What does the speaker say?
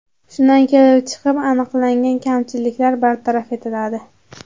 Shundan kelib chiqib, aniqlangan kamchiliklar bartaraf etiladi.